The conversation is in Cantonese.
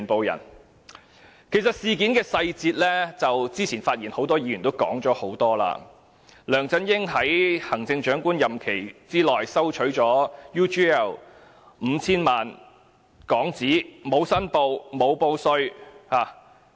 有關事件的細節，很多議員多次指出，梁振英在行政長官任期內收取 UGL 公司 5,000 萬港元，但沒有申報或報稅。